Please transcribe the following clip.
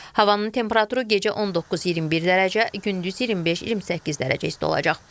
Havanın temperaturu gecə 19-21 dərəcə, gündüz 25-28 dərəcə isti olacaq.